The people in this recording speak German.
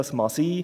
Das mag sein.